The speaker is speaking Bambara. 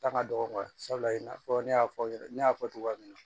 Ta ka dɔgɔ sabula i n'a fɔ ne y'a fɔ ne y'a fɔ cogoya min na